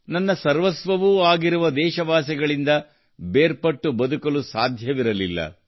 ನನ್ನ ಸರ್ವಸ್ವವೂ ಆಗಿರುವ ದೇಶವಾಸಿಗಳಿಂದ ಬೇರ್ಪಟ್ಟು ಬದುಕಲು ಸಾಧ್ಯವಿರಲಿಲ್ಲ